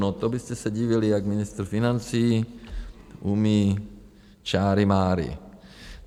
No to byste se divili, jak ministr financí umí čáry máry.